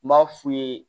N b'a f'u ye